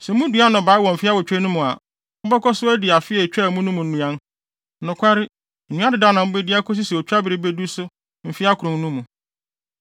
Sɛ mudua nnɔbae wɔ mfe awotwe no mu a, mobɛkɔ so adi afe a etwaa mu no mu nnuan. Nokware, nnuan dedaw no na mubedi akosi sɛ otwabere bedu so mfe akron no mu.